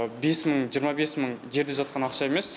бес мың жиырма бес мың жерде жатқан ақша емес